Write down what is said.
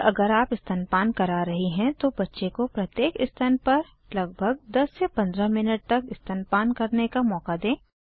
और अगर आप स्तनपान करा रही हैं तो बच्चे को प्रत्येक स्तन पर 10 15 मिनट तक स्तनपान करने का मौका दें